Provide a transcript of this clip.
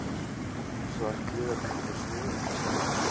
Svartliðar heimta svör